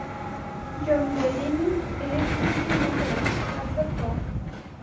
Jon Deleyni Elektrikning o‘g‘li, tadbirkor.